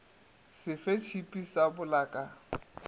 sefe sa tšhipi sa polaka